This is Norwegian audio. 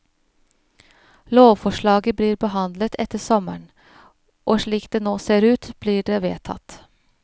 Lovforslaget blir behandlet etter sommeren, og slik det nå ser ut blir det vedtatt.